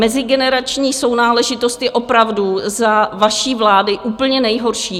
Mezigenerační sounáležitost je opravdu za vaší vlády úplně nejhorší.